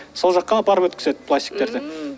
сол жаққа апарып өткізеді пластиктерді ммм